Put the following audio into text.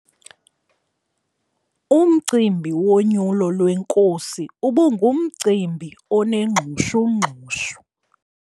Umcimbi wonyulo lwenkosi ubungumcimbi onengxushungxushu.